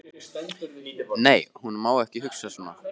Nei, hún má ekki hugsa svona.